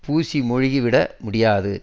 பூசி மெழுகிவிட முடியாது